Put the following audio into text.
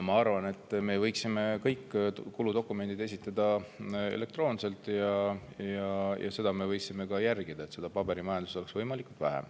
Ma arvan, et me võiksime esitada kõik kuludokumendid elektroonselt ja võiksime järgida seda, et paberimajandust oleks võimalikult vähe.